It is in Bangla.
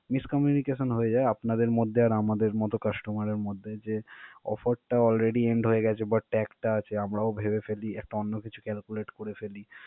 miscommunication হয়ে যায় আপনাদের মধ্যে আর আমাদের মত customer এর মধ্যে যে offer টা already end হয়ে গেছে but tag টা আছে. আমরাও ভেবে ফেলি একটা অন্য কিছু calculate করে ফেলি।